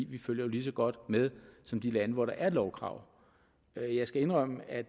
vi følger jo lige så godt med som de lande hvor der er et lovkrav jeg jeg skal indrømme at